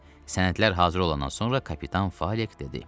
Sənədlər hazır olandan sonra kapitan Falik dedi.